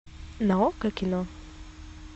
на окко кино